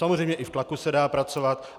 Samozřejmě i v tlaku se dá pracovat.